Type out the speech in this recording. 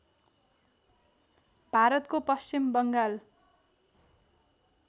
भारतको पश्चिम बङ्गाल